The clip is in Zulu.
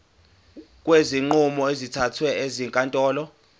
kwezinqumo ezithathwe ezinkantolo